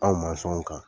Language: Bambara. Anw kan